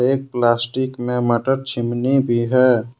एक प्लास्टिक में मटर छिमनी भी है।